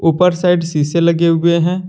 ऊपर साइड सीसे लगे हुए हैं।